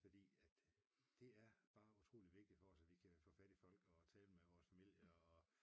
Fordi at det er bare utroligt vigtigt for os at vi kan få fat i folk og tale med vores familie og